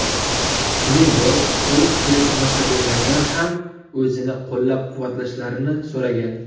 Shuningdek, u teletomoshabinlardan ham o‘zini qo‘llab-quvvatlashlarini so‘ragan.